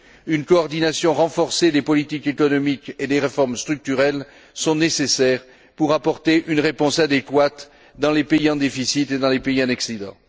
Une coordination renforcée des politiques économiques et des réformes structurelles est nécessaire pour apporter une réponse adéquate dans les pays en déficit et dans les pays en excédent.